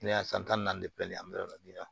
Kɛnɛya san tan ni naani bɛɛ filɛ nin ye an bɛ yɔrɔ min na